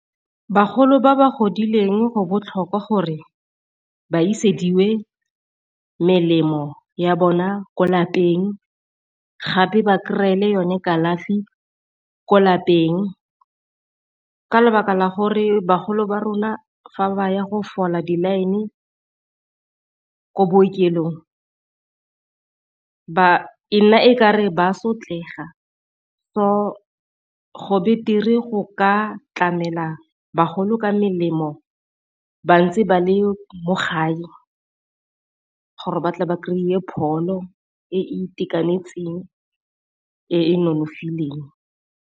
Bagolo ba ba godileng go botlhokwa gore ba isediwe melemo ya bona ko lapeng gape ba kry-e le yone kalafi ko lapeng. Ka lebaka la gore bagolo ba rona fa ba ya go fola di-line ko bookelong ba e nna e kare ba sotlega so, go betere go ka tlamela bagolo ka melemo ba ntse ba le mo gae gore ba tle ba kry-e pholo e e itekanetseng e e nonofileng.